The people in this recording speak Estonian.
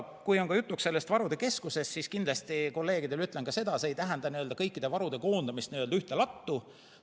Kui on juttu varude keskusest, siis kindlasti kolleegidele ütlen ka seda, et see ei tähenda kõikide varude koondamist ühte lattu.